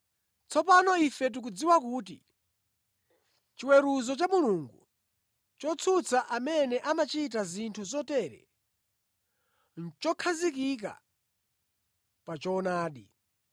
Tsopano ife tikudziwa kuti chiweruzo cha Mulungu, chotsutsa amene amachita zinthu zotere, nʼchokhazikika pa choonadi.